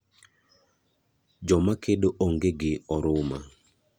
Joma kedo ong'e gi oruma.